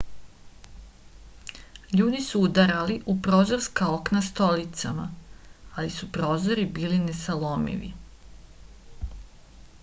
ljudi su udarali u prozorska okna stolicama ali su prozori bili nesalomivi